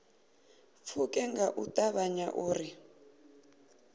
pfuke nga u ṱavhanya uri